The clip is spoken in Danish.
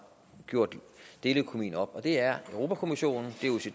gjort deleøkonomien op det er europa kommissionen